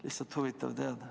Lihtsalt huvitav oleks teada.